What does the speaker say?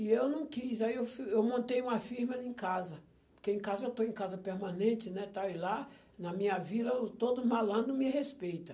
E eu não quis, aí eu fui, eu montei uma firma em casa, porque em casa eu estou em casa permanente, né, tal, e lá na minha vila todo malandro me respeita.